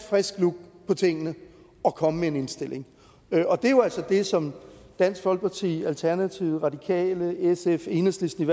frisk look på tingene og komme med en indstilling og det er jo altså det som i dansk folkeparti alternativet radikale sf og enhedslisten